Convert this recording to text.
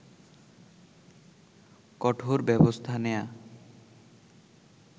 কঠোর ব্যবস্থা নেয়া